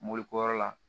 Mobili ko yɔrɔ la